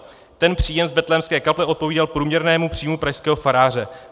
Ten příjem z Betlémské kaple odpovídal průměrnému příjmu pražského faráře.